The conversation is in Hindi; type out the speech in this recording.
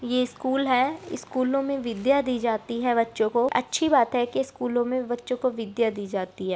ये स्कूल है स्कूलो मे विद्या दी जाती है बच्चों को अच्छी बात है की स्कूलों मे बच्चों को विद्या दी जाती है।